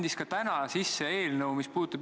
Viie aasta pärast peavad nad selleks valmis olema.